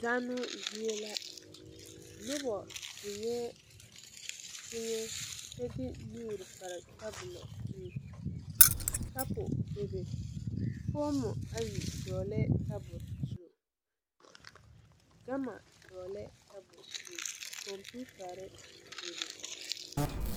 Zanoo zie la nobɔ zeŋɛɛ teŋɛ kyɛ de nuure pare tabolɔ zu kapu bebe foomo ayi dɔɔlɛɛ tabole zu gama dɔɔlɛɛ tabol zu kɔmpiutarre meŋ bebe.